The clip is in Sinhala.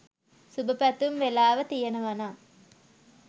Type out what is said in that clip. සුබ පැතුම් වෙලාව තියෙනවනම්